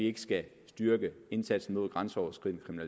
ikke skal styrke indsatsen mod den grænseoverskridende